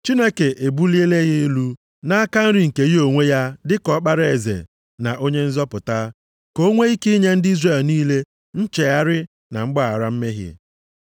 Chineke ebuliela ya elu nʼaka nri nke ya onwe ya dị ka Ọkpara eze na Onye nzọpụta, ka o nwee ike inye ndị Izrel niile nchegharị na mgbaghara mmehie.